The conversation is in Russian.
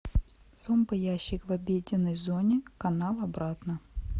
зомбоящик в обеденной зоне канал обратно